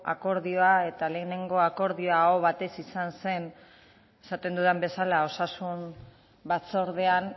akordioa eta lehenengo akordioa aho batez izan zen esaten dudan bezala osasun batzordean